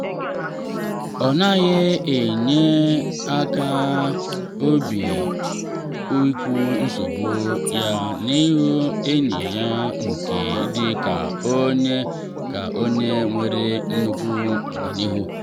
ọ naghị enwe nkasi obi ikwu nsogbu ya n’ihu enyi ya nke dị ka onye ka onye nwere nnukwu ọganihu.